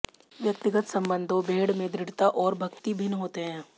व्यक्तिगत संबंधों भेड़ में दृढ़ता और भक्ति भिन्न होते हैं